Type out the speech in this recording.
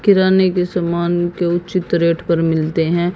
किराने के सामान के उचित रेट पर मिलते हैं।